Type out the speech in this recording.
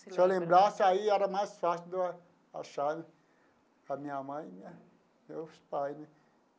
Se eu lembrasse, aí era mais fácil de eu achar a minha mãe e minha meus pais, né?